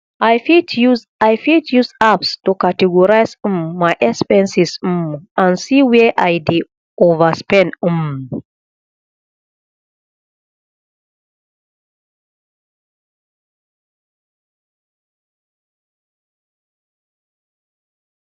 i fit use i fit use apps to categorize um my expenses um and see where i dey overspend um